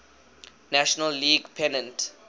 national league pennant